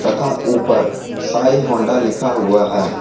तथा ऊपर शाई होंडा लिखा हुआ है।